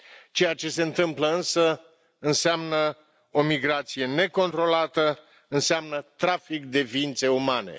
Ceea ce se întâmplă însă înseamnă o migrație necontrolată, înseamnă trafic de ființe umane.